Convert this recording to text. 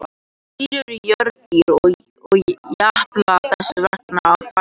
Kýr eru jórturdýr og japla þess vegna á fæðunni.